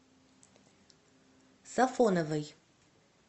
сафоновой